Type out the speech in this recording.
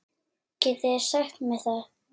Getið þið sagt mér það?